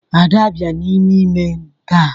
Ada bia n'ime ime m ta.